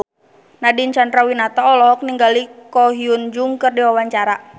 Nadine Chandrawinata olohok ningali Ko Hyun Jung keur diwawancara